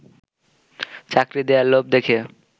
চাকরি দেয়ার লোভ দেখিয়ে